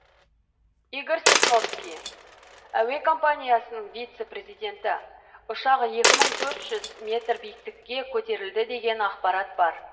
игорь сосновский әуе компаниясының вице президенті ұшақ екі мың төрт жүз метр биіктікке көтерілді деген ақпарат бар